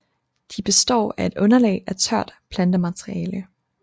De består af et underlag af tørt plantemateriale